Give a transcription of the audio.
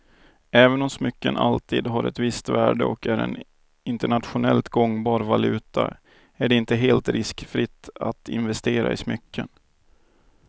Även om smycken alltid har ett visst värde och är en internationellt gångbar valuta är det inte helt riskfritt att investera i smycken.